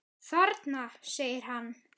Þarna! segir hann.